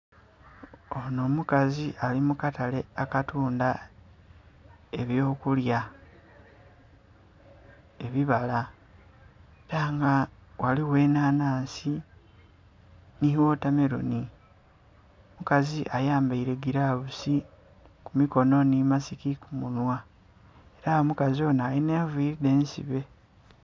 Onho omukazi ali mu katale akatundha eby'okulya, ebibala. Ela nga ghaligho enhanhansi nhi wotameloni. Omukazi ayambaile gilavusi ku mikono nhi masiki ku munhwa ela omukazi onho alinha enviili dhe nsibe.